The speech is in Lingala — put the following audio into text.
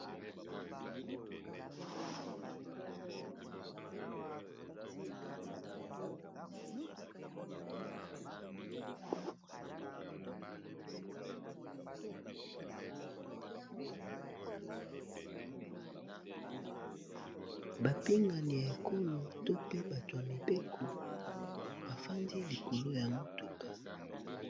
Bapingani ya ekolo to pe bato ya mibeko bafandi likolo ya motuka.